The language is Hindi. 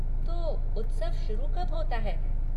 तो उत्सव शुरू कब होता है?